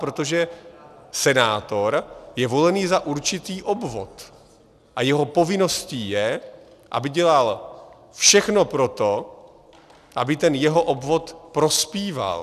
Protože senátor je volený za určitý obvod a jeho povinností je, aby dělal všechno pro to, aby ten jeho obvod prospíval.